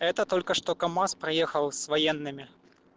это только что камаз проехал с военными